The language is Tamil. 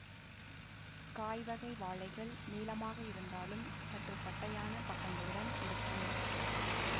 காய்வகை வாழைகள் நீளமாக இருந்தாலும் சற்று பட்டையான பக்கங்களுடன் இருக்கும்